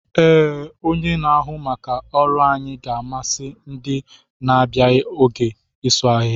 Ee, onye na-ahụ maka ọrụ anyị ga-amasị ndị na-abịaghi oge isu ahịhịa.